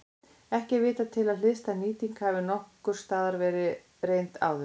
Ekki er vitað til að hliðstæð nýting hafi nokkurs staðar verið reynd áður.